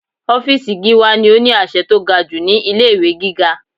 Ọ́fìsì Gíwá ni ó ní àṣẹ tó ga jù ní ilé ìwé gíga.